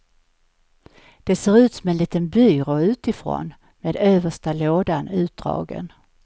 Det ser ut som en liten byrå utifrån, med översta lådan utdragen.